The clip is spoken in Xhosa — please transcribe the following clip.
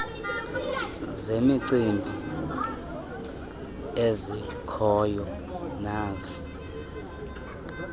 zemicimbi ezikhoyo nazo